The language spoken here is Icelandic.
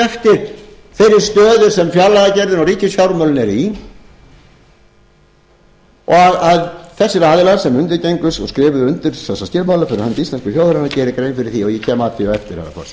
eftir þeirri stöðu sem fjárlagagerðin og ríkisfjármálin eru í og að þessir aðilar sem undirgengust og skrifuðu undir þessa skilmála íslensku þjóðarinnar geri grein fyrir því og ég kem að því á eftir